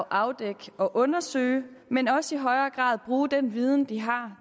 afdække og undersøge men også i højere grad at bruge den viden de har